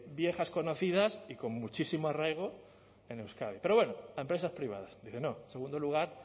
viejas conocidas y con muchísimo arraigo en euskadi pero bueno a empresas privadas dice no en segundo lugar